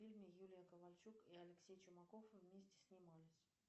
в фильме юлия ковальчук и алексей чумаков вместе снимались